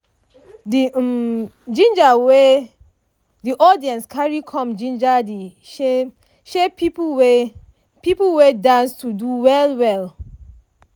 di[um] ginger wey di audience carry come ginger de shy shy people wey people wey dance to do well well.